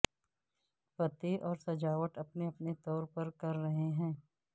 پتے اور سجاوٹ اپنے اپنے طور پر کر رہے ہیں